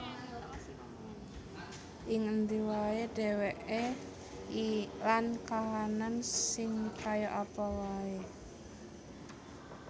Ing endi wae dheweke lan kahanan sing kaya apa wae